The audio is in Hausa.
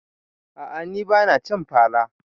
A'a ni bana cin fara